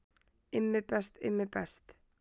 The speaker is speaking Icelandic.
Immi best, Immi best.